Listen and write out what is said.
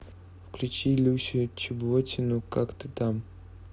включи люсю чеботину как ты там